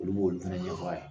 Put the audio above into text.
Olu b'olu fɛnɛ ɲɛfɔ a ye.